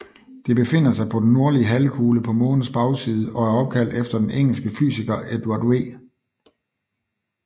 Det befinder sig på den nordlige halvkugle på Månens bagside og er opkaldt efter den engelske fysiker Edward V